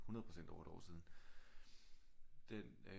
100% over et år siden den øh